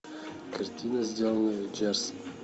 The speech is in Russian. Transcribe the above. картина сделано в джерси